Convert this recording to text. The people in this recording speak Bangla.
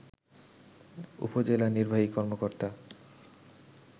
উপজেলা নির্বাহী কর্মকর্তা